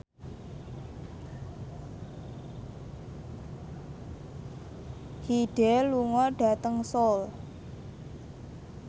Hyde lunga dhateng Seoul